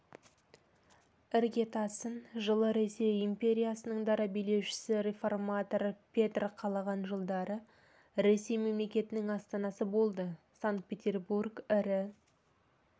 іргетасын жылы ресей империясының дара билеушісі реформатор петрқалаған жылдары ресей мемлекетінің астанасы болды санкт-петербург ірі